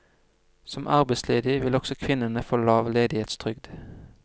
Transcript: Som arbeidsledig vil også kvinnene få lav ledighetstrygd.